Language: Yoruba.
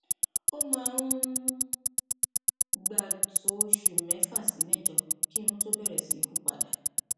ó máa ń gbà tó oṣù mẹfà sí mẹjọ kí irun tó bẹrẹ sí hù padà